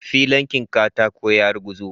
Filankin katako ya ruguzo.